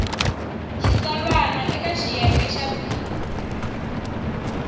xitsalwana eka xiyenge xa b